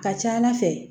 Ka ca ala fɛ